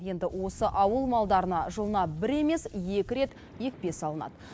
енді осы ауыл малдарына жылына бір емес екі рет екпе салынады